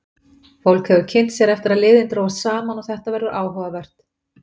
Fólk hefur kynnt sér eftir að liðin drógust saman og þetta verður áhugavert.